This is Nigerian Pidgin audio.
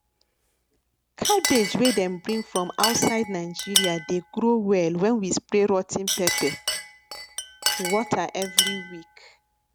cabbage wey dem bring from outside nigeria dey grow well when we spray rot ten pepper water every week